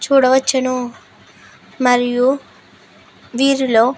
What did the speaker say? చూడవచ్చును మరియు వీరిలో --